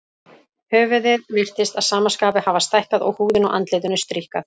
Höfuðið virtist að sama skapi hafa stækkað og húðin á andlitinu stríkkað.